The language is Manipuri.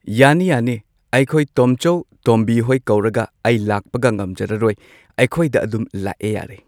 ꯌꯥꯅꯤ ꯌꯥꯅꯤ ꯑꯩꯈꯣꯏ ꯇꯣꯝꯆꯧ ꯇꯣꯝꯕꯤ ꯍꯣꯏ ꯀꯧꯔꯒ ꯑꯩ ꯂꯥꯛꯄꯒ ꯉꯝꯖꯔꯔꯣꯏ ꯑꯩꯈꯣꯏꯗ ꯑꯗꯨꯝ ꯂꯥꯛꯑꯦ ꯌꯥꯔꯦ꯫